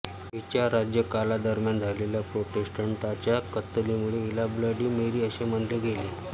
हिच्या राज्यकालादरम्यान झालेल्या प्रोटेस्टंटांच्या कत्तलींमुळे हिला ब्लडी मेरी असे म्हणले गेले